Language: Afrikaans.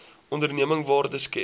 onderneming waarde skep